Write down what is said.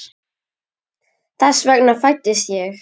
Þess vegna fæddist ég.